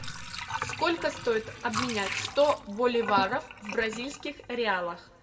сколько стоит обменять сто боливаров в бразильских реалах